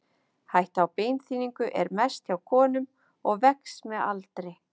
Hætta á beinþynningu er mest hjá konum og vex með aldri.